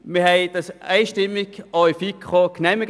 Wir haben den Kredit in der FiKo einstimmig genehmigt.